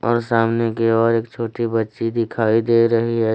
और सामने केवल एक छोटी बच्ची दिखाई दे रही है।